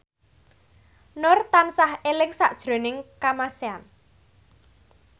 Nur tansah eling sakjroning Kamasean